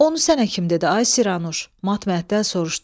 Onu sənə kim dedi, ay Siranuş, matməhətəl soruşdum.